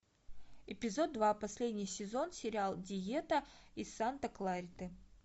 эпизод два последний сезон сериал диета из санта клариты